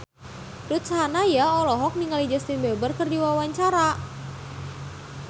Ruth Sahanaya olohok ningali Justin Beiber keur diwawancara